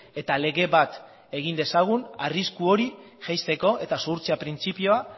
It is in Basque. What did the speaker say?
eta lege bat egin dezagun arrisku hori jaisteko eta zuhurtzia printzipioa